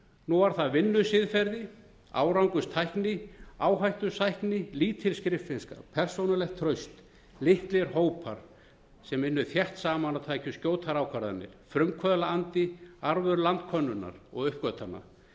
nú var það vinnusiðferði árangurstækni áhættusækni lítil skriffinnska persónulegt traust litlir hópar sem unnu þétt saman og tækju skjótar ákvarðanir frumkvöðlaandi arfur landkönnunar og uppgötvana